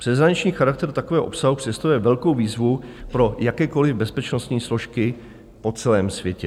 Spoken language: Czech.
Přeshraniční charakter takového obsahu představuje velkou výzvu pro jakékoli bezpečnostní složky po celém světě.